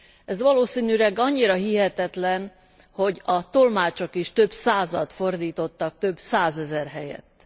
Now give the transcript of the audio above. Ez valószínűleg annyira hihetetlen, hogy a tolmácsok is több százat fordítottak több százezer helyett.